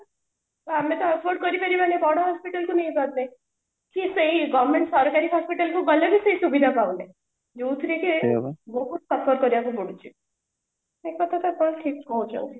ଆମେ ତ afford କରିବାରିବାନି ବଡ hospital କୁ ନେବା ପାଇଁ ସିଏ ସେଇ government ସରକାରୀ hospital କୁ ଗଲେବି ସେଇ ସୁବିଧା ପାଉନେ ଯୋଉଥିରେ କି ବହୁତ suffer କରିବାକୁ ପଡୁଛି ସେ କଥା ତ ତମେ ଠିକ କହୁଛ ବୋଧେ